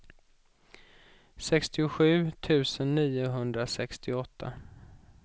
sextiosju tusen niohundrasextioåtta